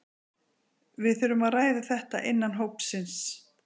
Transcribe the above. Við þurfum að ræða þetta innan hópsins.